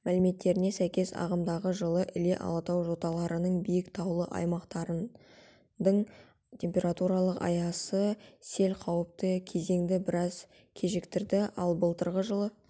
мәліметтеріне сәйкес ағымдағы жылы іле алатау жоталарының биік таулы аймақтарындың температуралық аясы сел қауіпті кезеңді біраз кешіктірді ал былтырғы жылы